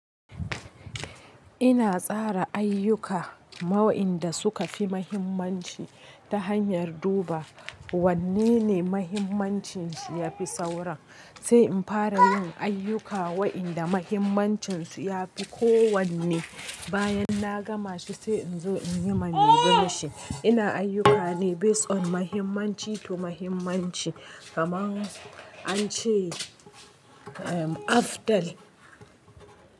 Ina tsara ayyuka ma wa'inda suka fi mahimmanci ta hanyar duba wanne ne mahimmancin shi yafi sauran. Sai in fara yin ayyuka wa'inda mahimmancin su ya fi ko wanne. Bayan na gama shi sai in zo in yi mai bimashi. Ina ayyukani based on mahimmanci to mahimmanci kamar an ce after.